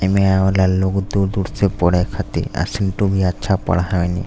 एमे आवेला लोग दूर-दूर से पढ़े खाती आ भी अच्छा पढ़ावेनी।